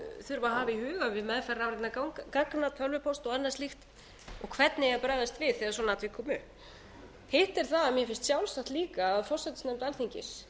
þurfa að hafa í huga við meðferð rafrænna gagna tölvupósta og annað slíkt og hvernig eigi að bregðast við þegar svona atvik koma upp hitt er það að mér finnst sjálfsagt líka að háttvirtur forsætisnefnd alþingis